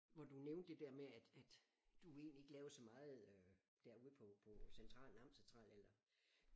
Hvor du nævnte det der med at at du egentlig ikke lavede så meget øh derude på på centralen Amtscentralen eller